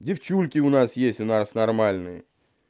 девчульки у нас есть у нас нормальные